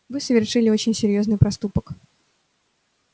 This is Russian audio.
вы совершили очень серьёзный проступок